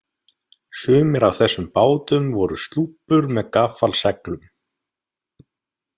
Sumir af þessum bátum voru slúppur með gaffalseglum.